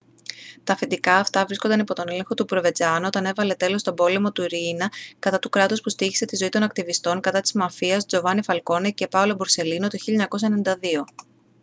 τα αφεντικά αυτά βρίσκονταν υπό τον έλεγχο του προβεντσάνο όταν έβαλε τέλος στον πόλεμο του ριίνα κατά του κράτους που στοίχησε τη ζωή των ακτιβιστών κατά της μαφίας τζοβάνι φαλκόνε και πάολο μπορσελίνο το 1992»